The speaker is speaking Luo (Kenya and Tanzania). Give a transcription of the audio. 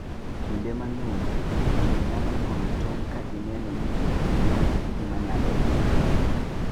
Kinde mang'eny, winy nyalo nyuolo tong' ka gineno ni gionge gi gima nyalo hinyogi.